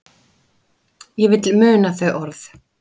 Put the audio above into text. Ég vil muna þau orð.